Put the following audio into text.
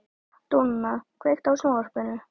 Dúnna, kveiktu á sjónvarpinu.